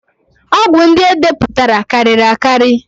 Ọgwụ ndị e depụtara karịrị akarị